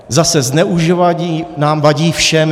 Zase, zneužívání vadí nám všem.